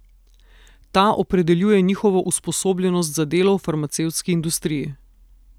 Ta opredeljuje njihovo usposobljenost za delo v farmacevtski industriji.